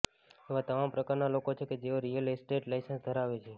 એવા તમામ પ્રકારના લોકો છે કે જેઓ રિયલ એસ્ટેટ લાઇસન્સ ધરાવે છે